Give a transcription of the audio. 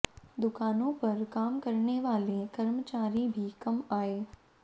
दुकानों पर काम करने वाले कर्मचारी भी कम आये